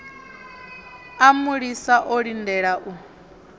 a mulisa o lindela u